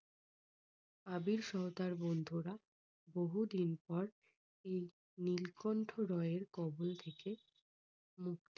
আবির সহ তার বন্ধুরা বহুদিন পর এই নীলকণ্ঠ রায়ের কবল থেকে মুক্তি